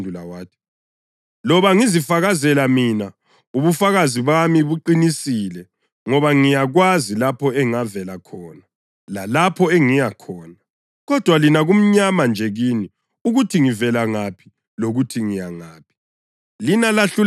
UJesu waphendula wathi, “Loba ngizifakazela mina, ubufakazi bami buqinisile ngoba ngiyakwazi lapho engavela khona lalapho engiyakhona. Kodwa lina kumnyama nje kini ukuthi ngivela ngaphi lokuthi ngiya ngaphi.